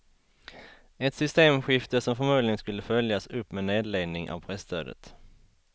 Ett systemskifte som förmodligen skulle följas upp med nedläggning av presstödet.